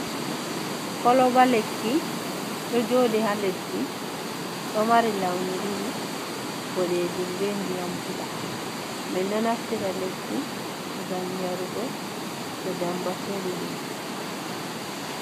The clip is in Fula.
Kolba lekki do jodi ha leddi do mari launi didi bodejum bendi yambula mi do naftita lekki zami yarugo to demba feri himbe.